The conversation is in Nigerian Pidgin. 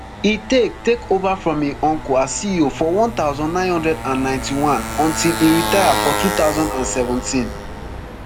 e take take ova from im uncle as ceo for one thousand, nine hundred and ninety-one until e retire for two thousand and seventeen